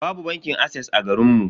Babu bankin ases a garinmu.